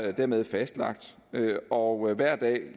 er dermed fastlagt og hver dag